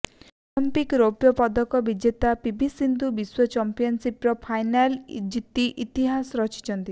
Olympic ରୌପ୍ୟ ପଦକ ବିଜେତା ପିଭି ସିନ୍ଧୁ ବିଶ୍ୱ ଚମ୍ପିଆନସିପର ଫାଇନାଲ ଜିତି ଇତିହାସ ରଚିଛନ୍ତି